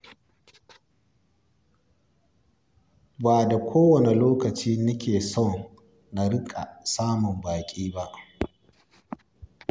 Ba da kowane lokaci nake son na riƙa samun baƙi ba.